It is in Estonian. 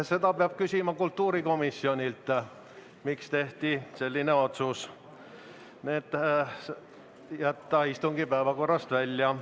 Seda peab küsima kultuurikomisjonilt, miks tehti otsus jätta need istungi päevakorrast välja.